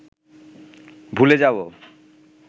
ভুলে যাব